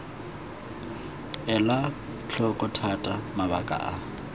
elwa tlhoko thata mabaka a